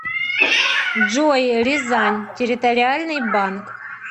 джой рязань территориальный банк